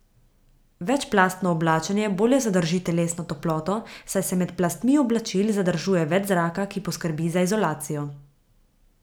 Večplastno oblačenje bolje zadrži telesno toploto, saj se med plastmi oblačil zadržuje več zraka, ki poskrbi za izolacijo.